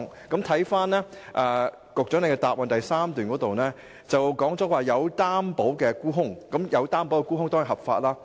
局長在主體答覆第三部分提到"有擔保沽空"，而這當然是合法的。